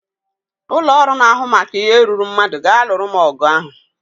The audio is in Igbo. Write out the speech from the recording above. Ụlọ ọrụ na-ahụ maka ihe ruuru mmadụ ga-alụrụ m ọgụ ahụ